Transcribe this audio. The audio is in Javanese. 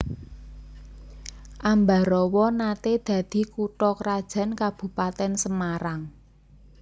Ambarawa naté dadi kutha krajan Kabupatèn Semarang